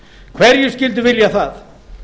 hverjir skyldu vilja það